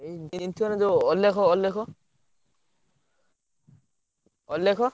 ଏଇ ଚିହ୍ନିଚନା? ଯୋଉ ଅଲେଖ, ଅଲେଖ, ଅଲେଖ?